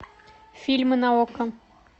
фильмы на окко